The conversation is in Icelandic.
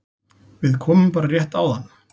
Við komum bara rétt áðan